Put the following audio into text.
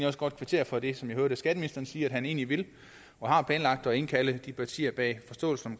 også godt kvittere for det som jeg hørte skatteministeren sige nemlig at han egentlig vil og har planlagt at indkalde de partier bag forståelsen